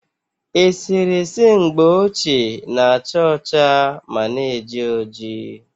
Eserese mgbe ochie na- acha ọcha ma na-eji oji